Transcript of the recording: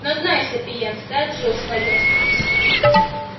но знай сапиенс ты отжил своё